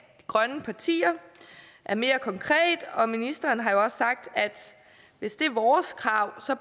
grønne partier er mere konkret og ministeren har jo også sagt at hvis det er vores krav